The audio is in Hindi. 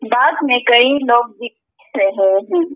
बाग में कई लोग भी दिख रहे हैं।